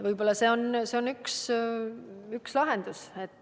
Võib-olla see on üks lahendus.